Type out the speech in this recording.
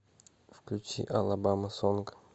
включи алабама сонг